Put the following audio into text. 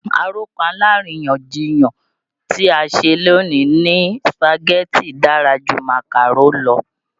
Àròkọ aláríyànjiyàn tí a ṣe lónìí ni Sùpàgẹ́tì dára ju Màkàrò lọ